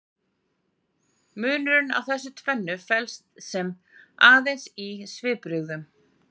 Munurinn á þessu tvennu felst sem sé aðeins í svipbrigðunum.